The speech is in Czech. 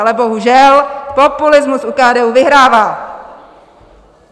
Ale bohužel, populismus u KDU vyhrává!